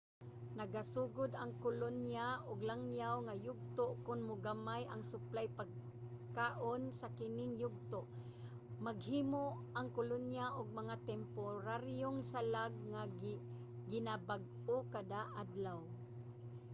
nagasugod ang kolonya og langyaw nga yugto kon mogamay ang suplay pagkaon. sa kining yugto maghimo ang kolonya og mga temporaryong salag nga ginabag-o kada-adlaw